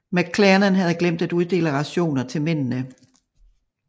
McClernand havde glemt at uddele rationer til mændene